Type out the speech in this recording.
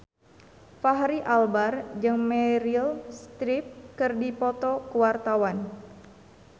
Fachri Albar jeung Meryl Streep keur dipoto ku wartawan